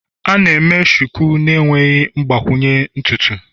A na-eme Shuku na-enweghị mgbakwunye ntutu.